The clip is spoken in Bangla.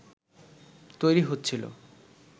তৈরী হচ্ছিল